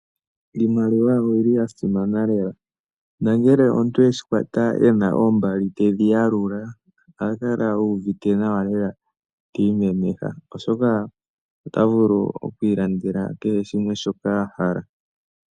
Oshimaliwa osha simana lela uuna omuntu akwata oshimaliwa teshiyalula ohakala uuvite nawa lela tiimemeha oshoka ota vulu oku ilandela kehe shoka ahala.